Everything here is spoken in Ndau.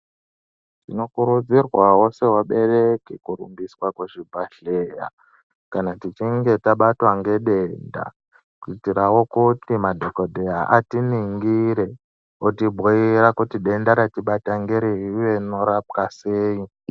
Tinokurudzirwawo sevabereki kurumbiswa kuzvibhadhleya, tichinge tabatwa ngedenda, kuitirawo kuti madhokodheya atiningire, otibhuira kuti denda ratibata ngerei, uye rinorapwa sei.